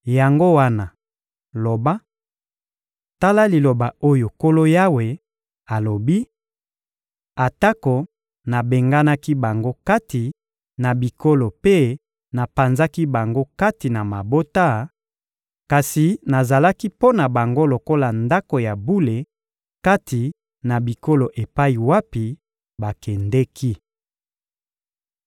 Yango wana, loba: ‹Tala liloba oyo Nkolo Yawe alobi: Atako nabenganaki bango kati na bikolo mpe napanzaki bango kati na mabota, kasi nazalaki mpo na bango lokola ndako ya bule kati na bikolo epai wapi bakendeki.›